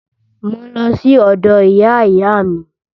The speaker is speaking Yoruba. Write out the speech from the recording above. Mò ń lọ sí ọ̀dọ̀ ìyá ìyá mi